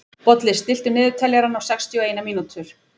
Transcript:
Bolli, stilltu niðurteljara á sextíu og eina mínútur.